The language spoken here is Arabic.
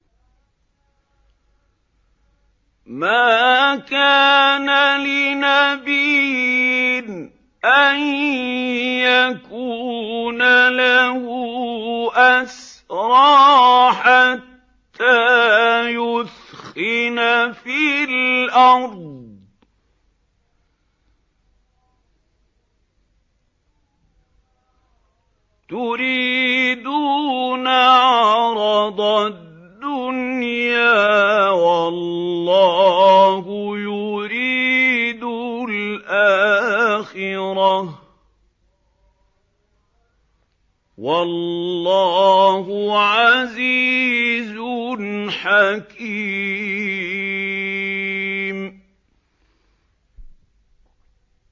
مَا كَانَ لِنَبِيٍّ أَن يَكُونَ لَهُ أَسْرَىٰ حَتَّىٰ يُثْخِنَ فِي الْأَرْضِ ۚ تُرِيدُونَ عَرَضَ الدُّنْيَا وَاللَّهُ يُرِيدُ الْآخِرَةَ ۗ وَاللَّهُ عَزِيزٌ حَكِيمٌ